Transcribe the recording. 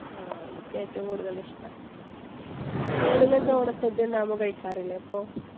ആഹ് എനിക്ക് ഏറ്റവും കൂടുതൽ ഇഷ്ടാ. സ്കൂളിൽ ഒക്കെ ഓണ സദ്യ ഇണ്ടാകുമ്പോ കഴിക്കാറില്ലേ അപ്പൊ?